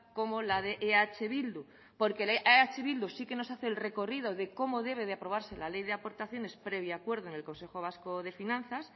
como la de eh bildu porque la de eh bildu sí que nos hace el recorrido de cómo debe de aprobarse la ley de aportaciones previo acuerdo en el consejo vasco de finanzas